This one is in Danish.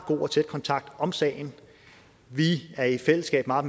god og tæt kontakt om sagen vi er i fællesskab meget